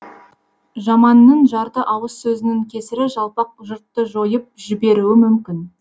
жаманның жарты ауыз сөзінің кесірі жалпақ жұртты жойып жіберуі мүмкін